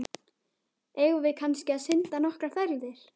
Eigum við kannski að synda nokkrar ferðir?